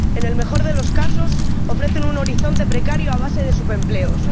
En el mejor de los casos, ofrecen un horizonte precario a base de subempleos.